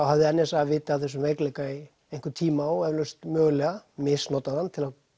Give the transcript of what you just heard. hafði n s a vitað af þessum veikleika í einhvern tíma og eflaust mögulega misnotað hann